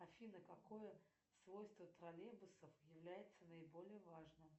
афина какое свойство троллейбусов является наиболее важным